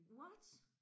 What